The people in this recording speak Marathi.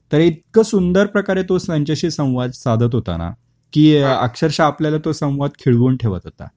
तर इतक सुंदर प्रकारे तो त्यांच्याशी संवाद साधत होताना की अक्षरश आपल्याला तो संवाद खिळवून ठेवत होता.